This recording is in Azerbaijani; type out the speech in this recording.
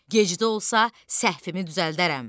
Gec də olsa səhvimi düzəldərəm.